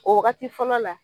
O wagati fɔlɔ la